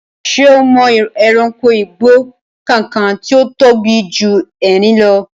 Ṣé o mọ ẹranko igbó kankan tí ó tóbi ju erin lọ?